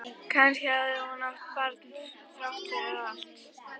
Kannski hafði hún átt barn þrátt fyrir allt.